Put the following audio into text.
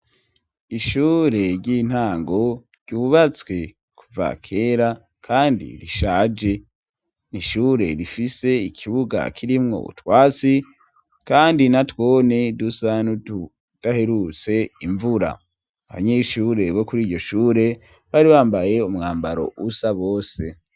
ishure ry'intango ryubatswe kuva kera kandi rishaje, n'ishure rifise ikibuga kirimwo utwatsi kandi natwone dusa nutudaherutse imvura, abanyeshure bo kuri iryo shure bari bambaye umwambaro usa bose.